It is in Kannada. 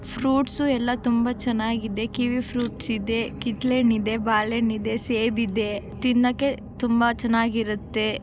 ಫ್ರೂಟ್ಸು ಎಲ್ಲಾ ತುಂಬಾ ಚೆನ್ನಾಗಿದೆ ಕೀವಿ ಫ್ರೂಟ್ಸ್ ಇದೆ ಕಿತ್ತಳೆ ಹಣ್ಣಿದೆ ಬಾಳೆಹಣ್ಣಿದೆ ಸೇಬು ಇದೆ ತಿನ್ನಕ್ಕೆ ತುಂಬಾ ಚೆನ್ನಾಗಿರುತ್ತೆ .